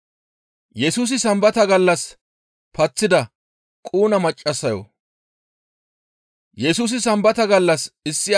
Yesusi Sambata gallas issi Ayhuda Woosa Keeththan tamaarsishin,